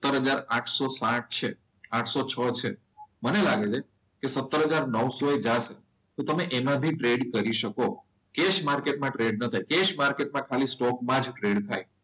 સત્તર હજાર આઠસો છ છે. આઠસો છ છે મને લાગે છે કે, સત્તર હજાર નવસો એ જશે. તો તમે એમાં બી ટ્રેડ કરી શકો કે એસ માર્કેટમાં ટ્રેડ ન થાય કેસ માર્કેટમાં ખાલી સ્ટોકમાં જ ટ્રેડ થાય.